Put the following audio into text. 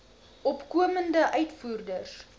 opkomende uitvoerders